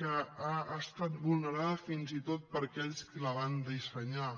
que ha estat vulnerada fins i tot per aquells que la van dissenyar